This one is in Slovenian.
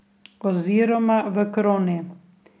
Oziroma v kroni.